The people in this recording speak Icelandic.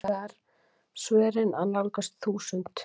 Nú eru hins vegar svörin að nálgast þúsund.